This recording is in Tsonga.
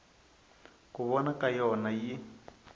ku vona ka yona yi